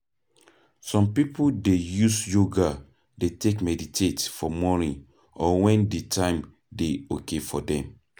some pipo dey use Yoga dey take meditate for morning or when di time dey okay for them